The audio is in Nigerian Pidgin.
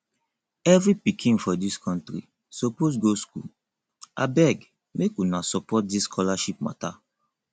every pikin for dis country suppose go school abeg make una support dis scholarship mata